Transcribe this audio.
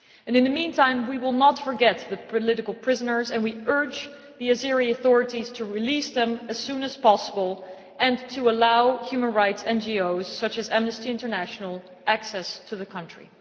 In the meantime we will not forget the political prisoners, and we urge the Azerbaijani authorities to release them as soon as possible and to allow human rights NGOs, such as Amnesty International, access to the country.